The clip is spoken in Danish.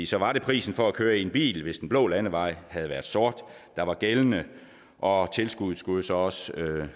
så var det prisen for at køre i en bil hvis den blå landevej havde været sort der var gældende og tilskuddet skulle så også